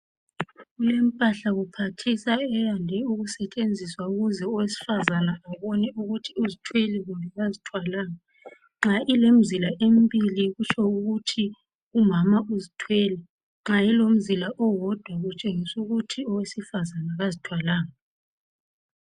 Kulempahla kuphathisa eyande ukusetshenziswa ukuze owesifazana abone ukuthi uzithwele kumbe kazithwalanga, nxa ilemizila embili kutsho ukuthi umama uzithwele nxa ilomzila owodwa kutshengisu kuthi owesifazana kazithwalanga